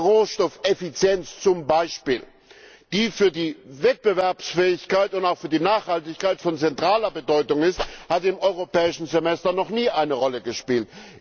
Rohstoffeffizienz zum Beispiel, die für die Wettbewerbsfähigkeit und auch für die Nachhaltigkeit von zentraler Bedeutung ist, hat im Europäischen Semester noch nie eine Rolle gespielt.